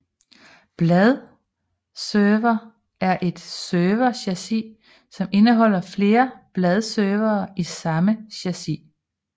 Bladeserver er et serverchassis som indeholder flere bladeservere i samme chassis